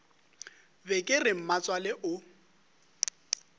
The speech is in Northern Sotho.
be ke re mmatswale o